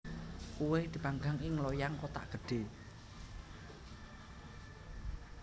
Kuweh dipanggang ing loyang kothak gedhe